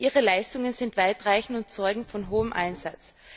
Ihre Leistungen sind weitreichend und zeugen von hohem Einsatz.